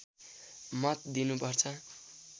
मत दिनु पर्छ